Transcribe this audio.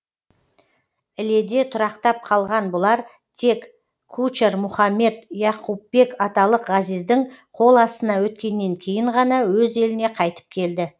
іледе тұрақтап қалған бұлар тек кучар мұхаммед яқупбек аталық ғазиздің қол астына өткеннен кейін ғана өз еліне қайтып келді